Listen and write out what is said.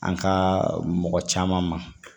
An ka mɔgɔ caman ma